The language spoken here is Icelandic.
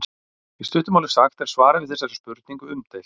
í stuttu máli sagt er svarið við þessari spurningu umdeilt